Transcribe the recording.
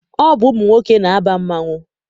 Ọ bụ ụmụ nwoke na-aba mmanwụ.